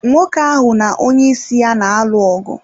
Nwoke ahụ na onyeisi ya na-alụ ọgụ.